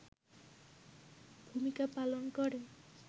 ভূমিকা পালন করে